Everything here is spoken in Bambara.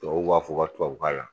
Tubabu b'a fɔ ka tubabukan la